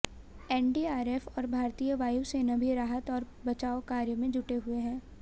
NDRF और भारतीय वायुसेना भी राहत और बचाव कार्य में जुटे हुए हैं